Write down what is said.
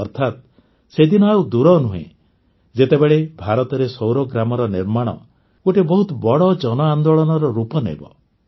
ଅର୍ଥାତ ସେ ଦିନ ଆଉ ଦୂର ନୁହେଁ ଯେତେବେଳେ ଭାରତରେ ସୌର ଗ୍ରାମର ନିର୍ମାଣ ଗୋଟିଏ ବହୁତ ବଡ଼ ଜନଆନ୍ଦୋଳନର ରୂପ ନେବ